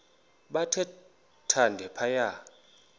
bathe thande phaya